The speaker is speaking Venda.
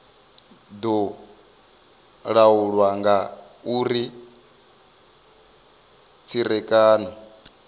do laulwa nga uri tserekano